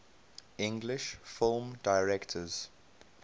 english film directors